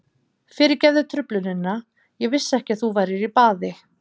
Fyrirgefðu truflunina, ég vissi ekki að þú værir í baði.